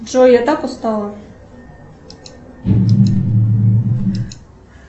джой я так устала